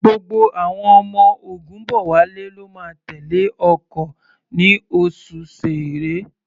Gbogbo àwọn ọmọ Ògúnbọ̀wálé ló máa tẹ̀lé ọkọ̀ ní oṣù Ṣẹẹrẹ.